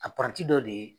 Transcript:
A dɔ de ye